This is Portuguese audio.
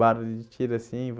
Barulho de tiro, assim.